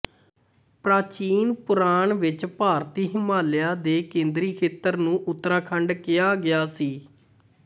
ਪ੍ਰਾਚੀਨ ਪੁਰਾਣ ਵਿਚ ਭਾਰਤੀ ਹਿਮਾਲਿਆ ਦੇ ਕੇਂਦਰੀ ਖੇਤਰ ਨੂੰ ਉਤਰਾਖੰਡ ਕਿਹਾ ਗਿਆ ਸੀ